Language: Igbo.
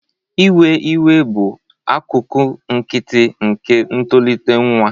Iwe iwe bụ akụkụ nkịtị nke ntolite nwa.